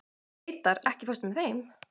Reidar, ekki fórstu með þeim?